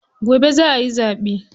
Gobe za ayi zaɓe.